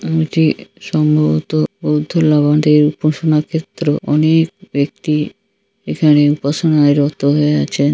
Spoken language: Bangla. এটি সম্ভবত লবণ থেকে উপসনা ক্ষেত্র অনেক-- একটি এখানে উপাসনায় রত হয়ে আছেন।